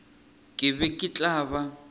ke be ke tla ba